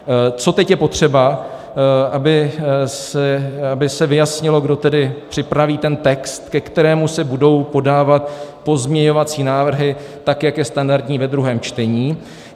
Co teď je potřeba, aby se vyjasnilo, kdo tedy připraví ten text, ke kterému se budou podávat pozměňovací návrhy, tak jak je standardní ve druhém čtení.